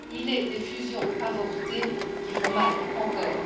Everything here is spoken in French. Il est des fusions avortées qui font mal, encore.